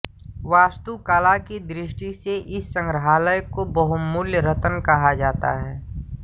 वास्तुकला की दृष्टि से इस संग्रहालय को बहुमूल्य रत्न कहा जाता है